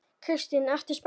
Kristín: Ertu spennt?